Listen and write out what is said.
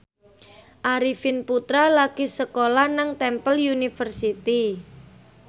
Arifin Putra lagi sekolah nang Temple University